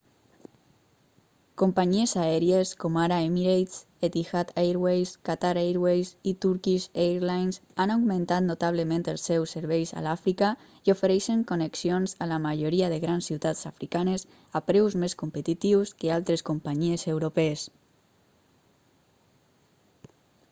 companyies aèries com ara emirates etihad airways qatar airways i turkish airlines han augmentat notablement els seus serveis a l'àfrica i ofereixen connexions a la majoria de grans ciutats africanes a preus més competitius que altres companyies europees